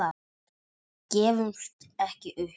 Gefumst ekki upp.